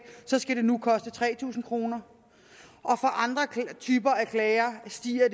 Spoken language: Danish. skal det nu koste tre tusind kroner for andre typer af klager stiger